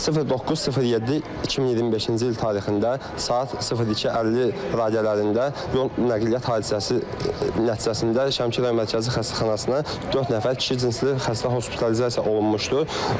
09.07.2025-ci il tarixində saat 02:50 radələrində yol nəqliyyat hadisəsi nəticəsində Şəmkir rayon Mərkəzi Xəstəxanasına dörd nəfər kişi cinsli xəstə hospitalizasiya olunmuşdu.